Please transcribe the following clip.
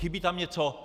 Chybí tam něco?